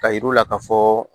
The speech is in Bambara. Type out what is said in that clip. Ka yir'u la ka fɔ